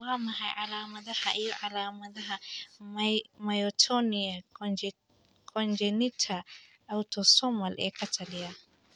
Waa maxay calamadaha iyo calaamadaha Myotonia congenita autosomal ee ka taliya?